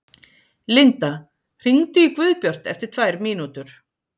Linda, hringdu í Guðbjart eftir tvær mínútur.